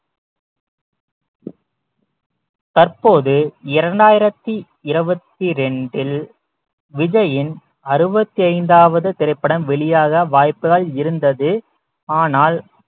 தற்போது இரண்டாயிரத்தி இருபத்தி இரண்டில் விஜயின் அறுபத்தி ஐந்தாவது திரைப்படம் வெளியாக வாய்ப்புகள் இருந்தது ஆனால்